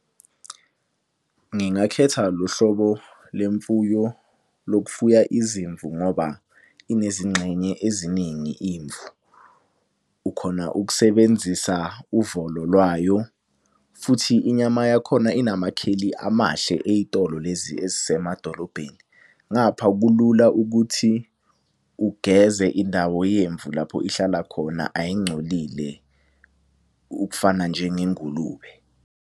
Ngingakhetha lo hlobo le mfuyo lokufuya izimvu ngoba inezingxenye eziningi imvu. Ukhona ukusebenzisa uvolo lwayo futhi inyama yakhona inamakheli amahle ey'tolo lezi ezisemadolobhedeni. Ngapha kulula ukuthi ugeze indawo yemvu lapho ihlala khona ayingcolile ukufana njengengulube.